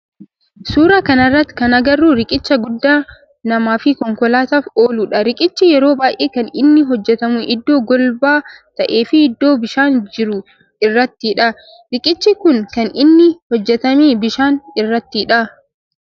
Suuraa kana irratti kan agarru riqicha guddaa nama fi konkolaataf ooludha. Riqichi yeroo baayyee kan inni hojjetamu iddoo golba ta'ee fi iddoo bishaan jiru irrattidha. Riqichi kun kan inni hojjetame bishaan irrattidha.